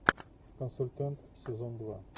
консультант сезон два